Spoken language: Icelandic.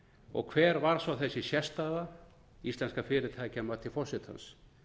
og hver var svo þessi sérstaða íslenskra fyrirtækja að mati forsetans